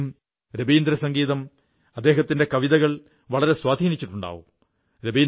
നിങ്ങളെയും രവീന്ദ്രസംഗീതം അദ്ദേഹത്തിന്റെ കവിതകൾ വളരെ സ്വാധീനിച്ചിട്ടുണ്ടാകാം